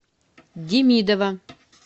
демидова